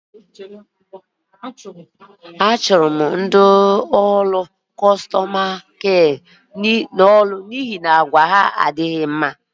A chụrụ ọtụtụ ndị ọrụ nlekọta ndị ahịa n'ọrụ n'ọnwa gara aga n'ihi àgwà adịghị mma ha